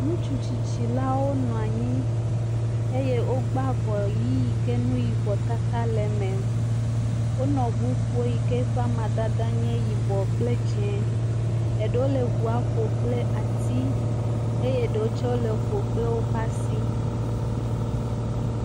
ŋutsu tsitsi la wó nɔanyi eye wó gbã avɔ yi yike nuyibɔ tata le me wónɔ ʋu ƒom yike ƒa madede nye yibɔ kplɛ dzɛ̃ eɖewo le ʋua ƒom kple asi ye eɖewo hã woƒom kple asi